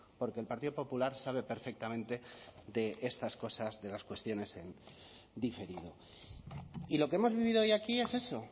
porque el partido popular sabe perfectamente de estas cosas de las cuestiones en diferido y lo que hemos vivido hoy aquí es eso